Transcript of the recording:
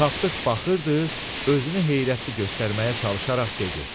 Tapdıq baxırdı, özünü heyrətli göstərməyə çalışaraq dedi: